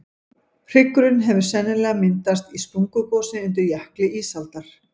hryggurinn hefur sennilega myndast í sprungugosi undir jökli ísaldar